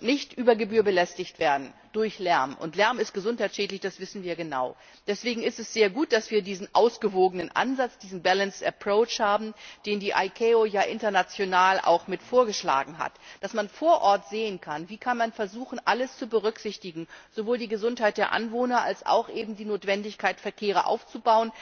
nicht über Gebühr durch Lärm belästigt werden. Lärm ist gesundheitsschädlich, das wissen wir genau. Deswegen ist es sehr gut, dass wir diesen ausgewogenen Ansatz, diesen balanced approach, haben, den die ICAO ja international auch mit vorgeschlagen hat dass man vor Ort sehen kann, wie kann man versuchen, alles zu berücksichtigen, sowohl die Gesundheit der Anwohner als eben auch die Notwendigkeit, Verkehre aufzubauen,